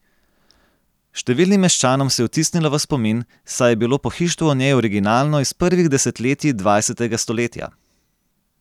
Številnim meščanom se je vtisnila v spomin, saj je bilo pohištvo v njej originalno iz prvih desetletji dvajsetega stoletja.